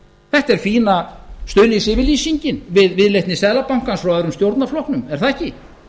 þetta er fína stuðningsyfirlýsingin við viðleitni seðlabankans frá öðrum stjórnarflokknum er það ekki